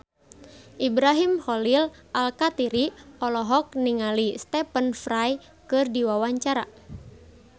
Ibrahim Khalil Alkatiri olohok ningali Stephen Fry keur diwawancara